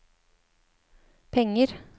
penger